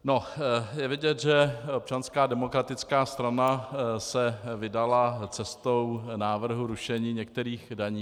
Je vidět, že Občanská demokratická strana se vydala cestou návrhu rušení některých daní.